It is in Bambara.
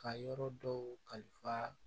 Ka yɔrɔ dɔw kalifa